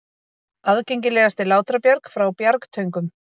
Aðgengilegast er Látrabjarg frá Bjargtöngum.